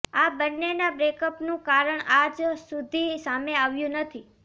આ બંનેના બ્રેકઅપનું કારણ આજ સુધી સામે આવ્યું નથી